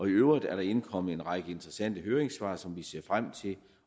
øvrigt er der indkommet en række interessante høringssvar som vi ser frem til